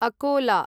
Akola